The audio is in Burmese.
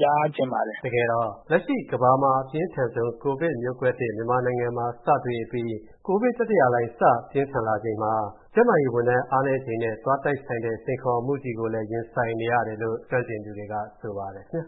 ကြားချင်ပါတယ်။ ကိုဝင်းမင်း ။.။ တကယ်တော့ လက်ရှိကမ္ဘာမှာ ပြင်းထန်ဆုံး ကိုဗစ်မျိုးကွဲသစ် မြန်မာနိုင်ငံမှာ စတွေ့အပြီး ကိုဗစ် တတိယလှိုင်းစပြင်းထန်ချိန်မှာ ကျန်းမာရေးဝန်ထမ်းအားနည်းချိန်နဲ့ သွားတိုက်ဆိုင်တဲ့ စိန်ခေါ်မှုကြီးကိုလည်း ရင်ဆိုင်နေရတယ်လို့ ကျွမ်းကျင်သူတွေက ဆိုပါတယ်ခင်